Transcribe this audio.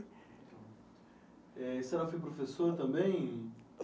Eh e você não foi professor também?